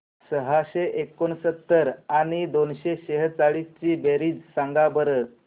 सहाशे एकोणसत्तर आणि दोनशे सेहचाळीस ची बेरीज सांगा बरं